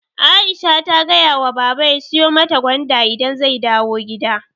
Aisha ta gayawa baba ya siyu mata gwanda idan zai dawu gida